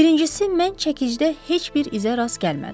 Birincisi, mən çəkidə heç bir izə rast gəlmədim.